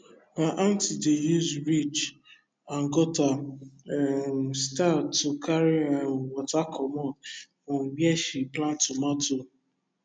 my aunty dey use ridge and gutter um style to carry um water commot from where she plant tomato